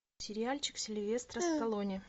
сериальчик сильвестра сталлоне